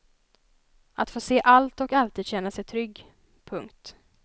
Att få se allt och alltid känna sig trygg. punkt